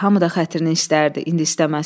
Hamı da xətrini istərdi, indi istəməsin.